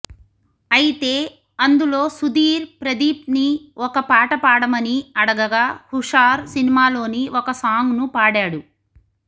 అయితే అందులో సుధీర్ ప్రదీప్ని ఒక పాట పాడమని అడగగా హుషార్ సినిమాలోని ఒక సాంగ్ను పాడాడు